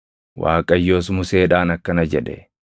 Waaqayyos Museedhaan akkana jedhe;